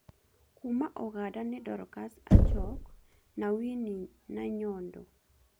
Kuuma Uganda nĩ Dorcas Ajok na Winnie Nanyondo